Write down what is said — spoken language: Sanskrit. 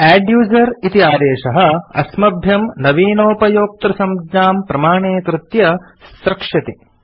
अद्दुसेर इति आदेशः अस्मभ्यं नवीनोपयोक्तृसंज्ञां प्रमाणीकृत्य स्रक्ष्यति